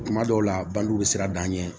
Kuma dɔw la bange bɛ siran an ɲɛ